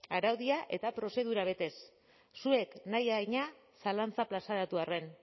araudia eta prozedurak betez zuek nahi adina zalantza plazaratu arren